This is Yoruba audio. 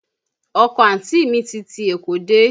Ọkọ àǹtí mi ti ti Èkó dé